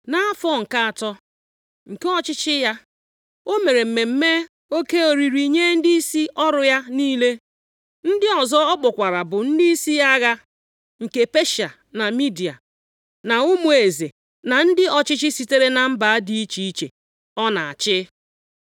Nʼafọ nke atọ nke ọchịchị ya, o mere mmemme oke oriri nye ndịisi ọrụ ya niile. Ndị ọzọ ọ kpọkwara bụ ndịisi agha nke Peshịa na Midia, na ụmụ eze, na ndị ọchịchị sitere na mba dị iche iche ọ na-achị.